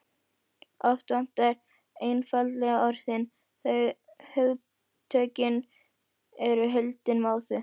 Oft vantar einfaldlega orðin- eða hugtökin eru hulin móðu.